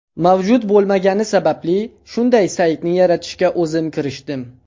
Mavjud bo‘lmagani sababli, shunday saytni yaratishga o‘zim kirishdim.